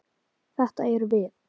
Þetta erum við.